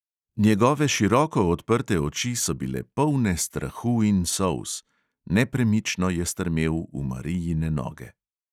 Njegove široko odprte oči so bile polne strahu in solz, nepremično je strmel v marijine noge.